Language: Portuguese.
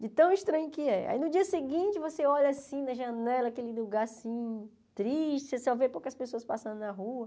De tão estranho que é. Aí, no dia seguinte, você olha assim na janela, aquele lugar assim, triste, você só vê poucas pessoas passando na rua.